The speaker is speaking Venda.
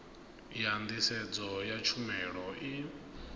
ya nḓisedzo ya tshumelo i